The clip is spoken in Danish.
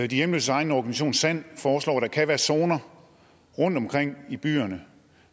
de hjemløses egen organisation sand foreslår at der kan være zoner rundtomkring i byerne